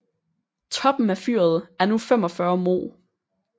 Toppen af fyret er nu 45 moh